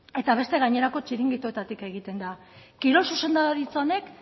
eta beste gainerako txiringitoetatik egiten da kirol zuzendaritza honek